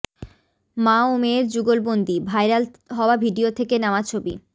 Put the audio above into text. মা ও মেয়ের যুগলবন্দি ভাইরাল হওয়া ভিডিও থেকে নেওয়া ছবি